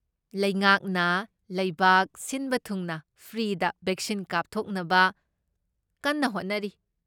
ꯂꯩꯉꯥꯛꯅ ꯂꯩꯕꯥꯛ ꯁꯤꯟꯕ ꯊꯨꯡꯅ ꯐ꯭ꯔꯤꯗ ꯕꯦꯛꯁꯤꯟ ꯀꯥꯞꯊꯧꯛꯅꯕ ꯀꯟꯅ ꯍꯣꯠꯅꯔꯤ꯫